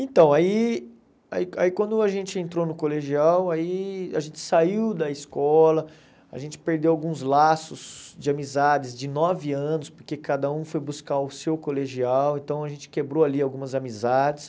Então, aí aí aí quando a gente entrou no colegial, aí a gente saiu da escola, a gente perdeu alguns laços de amizades de nove anos, porque cada um foi buscar o seu colegial, então a gente quebrou ali algumas amizades.